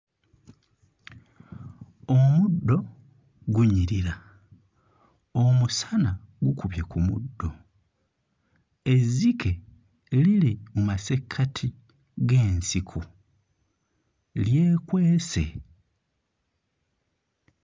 Omuddo gunyirira, omusana gukubye ku muddo, ezzike liri mu masekkati g'ensiko lyekwese.